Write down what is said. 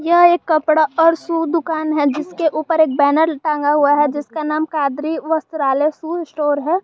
यह एक कपड़ा और शू दुकान है जिसके ऊपर एक बैनर टांगा हुआ है जिसका नाम कादरी वस्त्रालय शू स्टोर है।